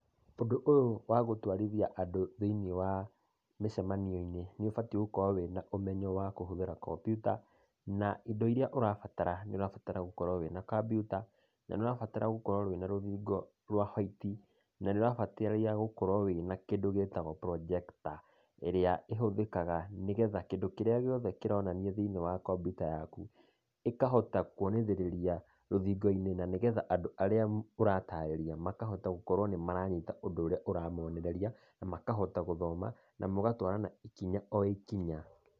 Ũndũ ũyũ wa gũtwarithia andũ thĩinĩ wa mĩcemanio-inĩ nĩ ũbatiĩ gũkorwo na ũmenyo wa kũhũthĩra kampyuta, na indo iria ũrabatara. Nĩ ũrabatara gũkorwo wĩna kampyuta, na nĩ ũrabatara gũkorwo na rũthingo rwa white, na nĩ ũrabatara gũkorwo na kĩndũ gĩtagwo projector, ĩrĩa ĩhũthĩkaga nĩgetha, kĩndũ kĩrĩa kĩronania kampyuta-inĩ yaku, gĩkahota kũonithĩrĩria rũthingo-inĩ nĩgetha andũ arĩa ũratarĩria, makahota gũkorwo nĩ maranyita ũndũ ũrĩa ũramonereria, na makahota gũthoma, na mũgatwarana ikinya o ikinya.